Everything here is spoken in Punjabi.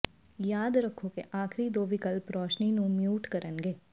ਯਾਦ ਰੱਖੋ ਕਿ ਆਖਰੀ ਦੋ ਵਿਕਲਪ ਰੋਸ਼ਨੀ ਨੂੰ ਮਿਊਟ ਕਰਨਗੇ